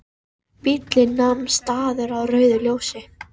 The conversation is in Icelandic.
Bíllinn nam staðar á rauðu ljósi.